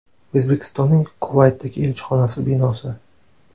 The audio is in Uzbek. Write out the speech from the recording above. O‘zbekistonning Kuvaytdagi elchixonasi binosi.